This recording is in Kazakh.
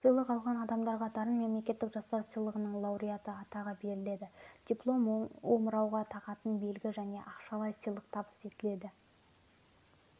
сыйлық алған адамдарға дарын мемлекеттік жастар сыйлығының лауреаты атағы беріледі диплом омырауға тағатын белгі және ақшалай сыйлық табыс етіледі